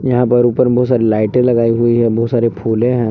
यहां पर ऊपर बहुत सारी लाइटें लगाई हुई हैं बहुत सारी फुलें हैं।